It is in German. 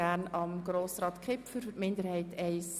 Kommissionssprecher der FiKo-Minderheit I.